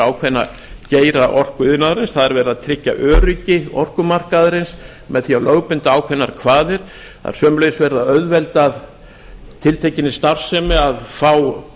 ákveðna geira orkuiðnaðarins það er verið að tryggja öryggi orkumarkaðarins með því að lögbinda ákveðnar kvaðir það er sömuleiðis verið að auðvelda tiltekinni starfsemi að fá